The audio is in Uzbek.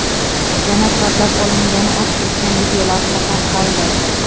yana kavlab olingani aks etgan videolavha tarqaldi.